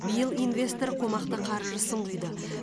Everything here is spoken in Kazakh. биыл инвестор қомақты қаржысын құйды